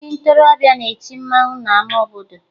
Ndị ntorobịa na-eti mmanwụ n'ama obodo